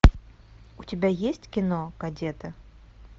у тебя есть кино кадеты